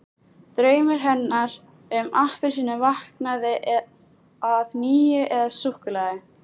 Draumur hennar um appelsínu vaknaði að nýju- eða súkkulaði!